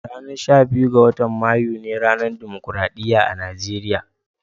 Ranan sha biyun, wotan Mayu ne ranan Dimokuradiyya a'Nijeriya.